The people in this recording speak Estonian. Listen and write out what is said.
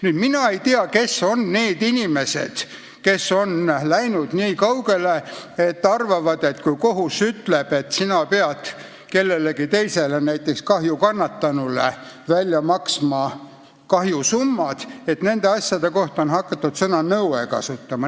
Nüüd, mina ei tea, kes on need inimesed, kes on läinud nii kaugele, et arvavad, et kui kohus ütleb, et sina pead kellelegi teisele, näiteks kahju kannatanule välja maksma kahjusummad, siis nende asjade puhul on õige öelda "nõue".